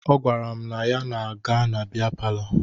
Ọ gwara m na ọ ga-aga bịa palọ taa